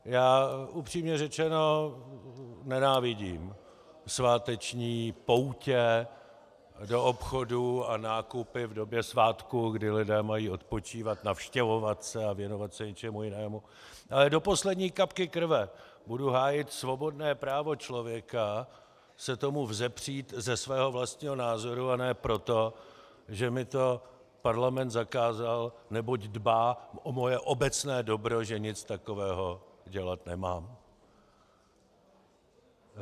Já upřímně řečeno nenávidím sváteční poutě do obchodů a nákupy v době svátků, kdy lidé mají odpočívat, navštěvovat se a věnovat se něčemu jinému, ale do poslední kapky krve budu hájit svobodné právo člověka se tomu vzepřít ze svého vlastního názoru, a ne proto, že mi to parlament zakázal, neboť dbá o moje obecné dobro, že nic takového dělat nemám.